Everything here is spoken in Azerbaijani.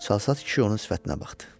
Çalsaz kişi onun sifətinə baxdı.